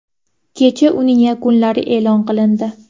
Kecha uning yakunlari e’lon qilindi.